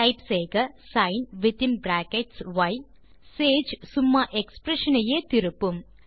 type செய்க sin within brackets ய் சேஜ் சும்மா எக்ஸ்பிரஷன் ஐயே திருப்பும்